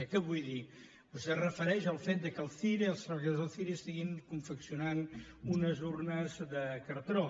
què vull dir vostè es refereix al fet que el cire els treballadors del cire confeccionin unes urnes de cartró